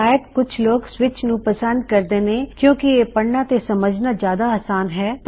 ਸ਼ਾਇਦ ਕੁਛ ਲੋਗ ਸਵਿੱਚ ਨੂੰ ਪਸੰਦ ਕਰਦੇ ਨੇਂ ਕਿਓਂ ਕਿ ਇਹ ਪੜਨਾ ਤੇ ਸਮਝਨਾ ਜਿਆਦਾ ਆਸਾਨ ਹਾ